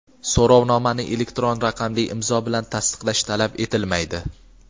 So‘rovnomani elektron raqamli imzo bilan tasdiqlash talab etilmaydi.